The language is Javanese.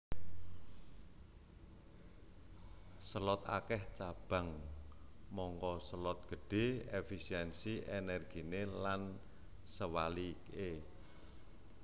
Selot akèh cabang mangka selot gedhé efisiensi ènèrginé lan sewaliké